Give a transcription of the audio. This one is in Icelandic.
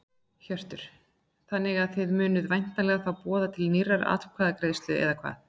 Hjörtur: Þannig að þið munuð væntanlega þá boða til nýrrar atkvæðagreiðslu eða hvað?